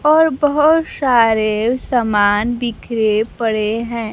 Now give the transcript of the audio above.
और बहुत सारे सामान बिखरे पड़े हैं।